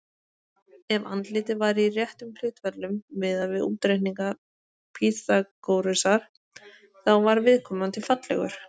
Ef andlitið var í réttum hlutföllum, miðað við útreikninga Pýþagórasar, þá var viðkomandi fallegur.